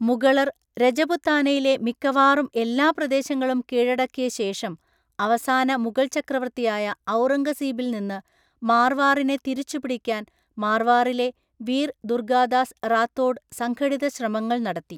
മുഗളർ രജപുത്താനയിലെ മിക്കവാറും എല്ലാ പ്രദേശങ്ങളും കീഴടക്കിയ ശേഷം, അവസാന മുഗൾ ചക്രവർത്തിയായ ഔറംഗസീബിൽ നിന്ന് മാർവാറിനെ തിരിച്ചുപിടിക്കാൻ മാർവാറിലെ വീർ ദുർഗാദാസ് റാത്തോഡ് സംഘടിത ശ്രമങ്ങൾ നടത്തി.